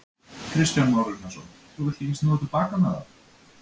Kristján Már Unnarsson: Þú villt ekki snúa til baka með það?